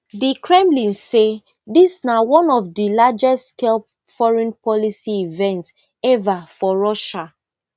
di kremlin say dis na one of di largestscale foreign policy events ever for russia